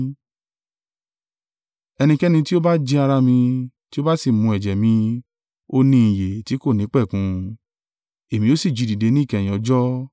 Ẹnikẹ́ni tí ó bá jẹ ara mi, tí ó bá sì mu ẹ̀jẹ̀ mi, ó ní ìyè tí kò nípẹ̀kun. Èmi o sì jí i dìde níkẹyìn ọjọ́.